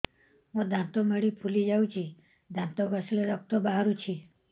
ମୋ ଦାନ୍ତ ମାଢି ଫୁଲି ଯାଉଛି ଦାନ୍ତ ଘଷିଲେ ରକ୍ତ ବାହାରୁଛି